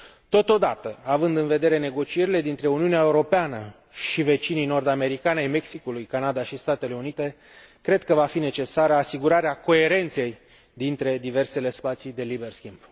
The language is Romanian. Totodată, având în vedere negocierile dintre Uniunea Europeană și vecinii nord americani ai Mexicului, Canada și Statele Unite, cred că va fi necesară asigurarea coerenței dintre diversele spații de liber schimb.